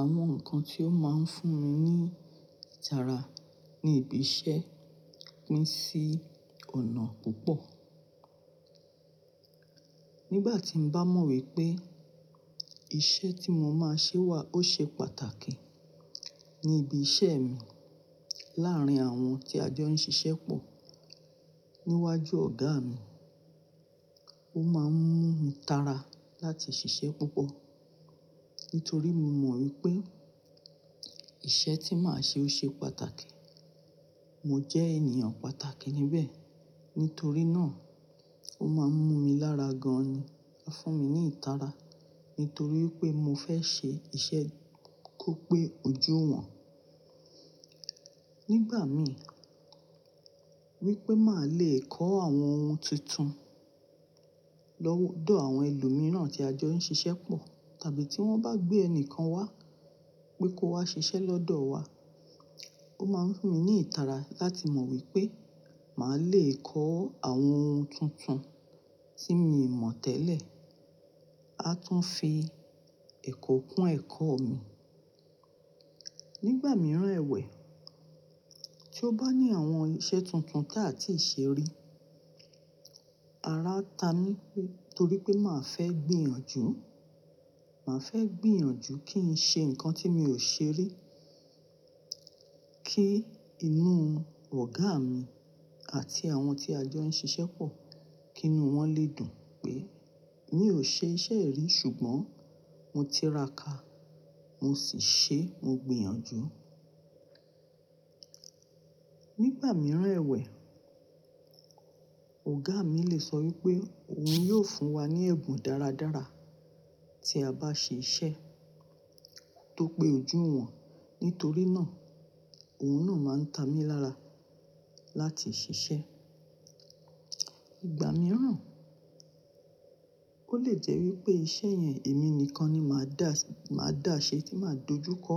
Àwọn nǹkan tí ó máa ń fún mi ní ìtara ní ibi iṣẹ́ pín sí ọ̀nà púpọ̀. Nígbà tí mo bá mọ̀ wípé iṣẹ́ tí mo máa ṣe wà ó ṣe pàtàkì ní ibi iṣẹ́ mi láàrín àwọn tí a jọ ń ṣiṣẹ́ pọ̀ níwájú ọ̀gá mi, ó máa ń mú mi tara láti ṣiṣẹ́ púpọ̀ nítorí mo mọ̀ wípé iṣẹ́ tí màá ṣe ó ṣe pàtàkì. Mo jẹ́ ènìyàn pàtàkì níbẹ̀ nítorí náà ó máa ń mú mi lára gan ni, ó fún mi ní ìtara nítorí pé mo fẹ́ ṣe iṣẹ́ kó pé ojú'wọ̀n. Nígbà mi wípé màá le kọ́ àwọn ohun tuntun lọ́wọ́ ọ àwọn ẹlòmíràn tí a jọ ń ṣiṣẹ́ pọ̀ tàbí tí wón bá gbé ẹnìkan wá pé kó wá ṣiṣẹ́ lọ́dọ̀ wa, ó máa ń fún mi ní ìtara láti mọ̀ wípé màá le kọ́ àwọn ohun tuntun tí mi ò mọ̀ tẹ́lẹ̀, a tún fi ẹ̀kọ́ kún ẹ̀kọ́ mi. Nígbà mìíràn ẹwẹ̀ tí ó bá ní àwọn iṣẹ́ tuntun tí a ti ì ṣe rí, ara a ta mi nítorí pé màá fẹ́ gbìyànjú, màá fẹ́ gbìyànjú kí n ṣe nǹkan tí mi ò ṣe rí kí inú ọ̀gá mi àti àwọn tí a jọ ń ṣiṣẹ́ pọ̀ kí inú wọn lè dùn pé mi ò ṣe iṣẹ́ yìí ri ṣùgbọ́n mo ti raka mo sì ṣe, mo gbìyànjú. Nígbà mìíràn ẹwẹ̀, ọ̀gá mi lè sọ wípé òun yóò fún wa ní ẹ̀bùn dáradára tí a bá ṣe iṣẹ́ tó pé ojú'wọ̀n. Nítorí náà, òun náà máa ń ta mi lára láti ṣiṣẹ́. Ìgbà mìíràn ó lè jẹ́ wípé iṣẹ́ yẹn èmi nìkan ni màá dà, màá dà ṣe tí màá dojúkọ.